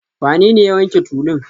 Wanene ya wanke tulun?